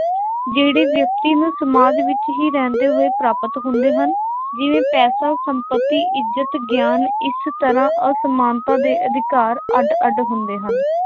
ਜਿਹੜੇ ਵਿਅਕਤੀ ਨੂੰ ਸਮਾਜ ਵਿੱਚ ਹੀ ਰਹਿੰਦੇ ਹੋਏ ਪ੍ਰਾਪਤ ਹੁੰਦੇ ਹਨ, ਜਿਵੇਂ ਪੈਸਾ, ਸੰਪੱਤੀ, ਇੱਜ਼ਤ, ਗਿਆਨ। ਇਸ ਤਰ੍ਹਾਂ ਅਸਮਾਨਤਾ ਦੇ ਅਧਿਕਾਰ ਅੱਡ ਅੱਡ ਹੁੰਦੇ ਹਨ।